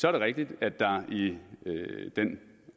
er det rigtigt at der i den